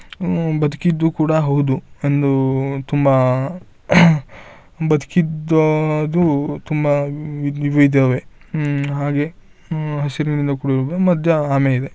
ಉಮ್ಮ್ ಬದ್ಕಿದ್ದು ಕೂಡ ಹೌದು ಒಂದು ತುಂಬಾ ಬದ್ಕಿದ್ದದ್ದು ತುಂಬಾ ವಿದ್ವಿದವೇ ಉಮ್ಮ್ ಹಾಗೆ ಆಹ್ಹ್ ಹಸಿರಿನಿಂದ ಕೂಡಿರುತ್ತೆ ಮಧ್ಯ ಆಮೆ ಇದೆ.